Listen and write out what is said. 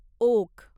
okay